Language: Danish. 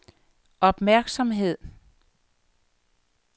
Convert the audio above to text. opmærksomhed